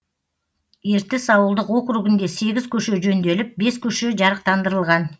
ертіс ауылдық округінде сегіз көше жөнделіп бес көше жарықтандырылған